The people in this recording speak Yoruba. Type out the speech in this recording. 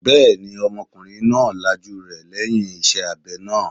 Bẹ́ẹ̀ni, ọmọkùnrin náà lajú rẹ̀ lẹ́yìn iṣẹ́ abẹ náà